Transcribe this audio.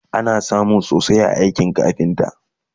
ana samun sosai a aikin kafinta